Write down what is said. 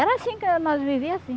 Era assim que nós vivia, assim.